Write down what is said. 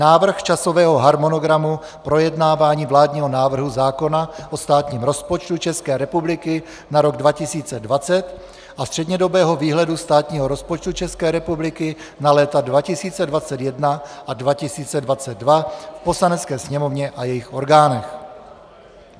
Návrh časového harmonogramu projednávání vládního návrhu zákona o státním rozpočtu České republiky na rok 2020 a střednědobého výhledu státního rozpočtu České republiky na léta 2021 a 2022 v Poslanecké sněmovně a jejích orgánech.